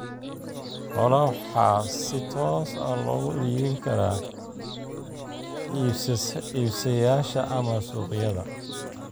Xoolaha waxaa si toos ah loogu iibin karaa iibsadayaasha ama suuqyada.